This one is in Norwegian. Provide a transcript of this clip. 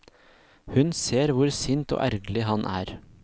Hun ser hvor sint og ergerlig han er.